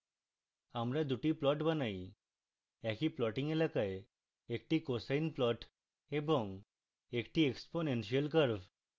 আমরা দুটি plots বানাইএকই plotting এলাকায় একটি cosine plots এবং একটি exponential curve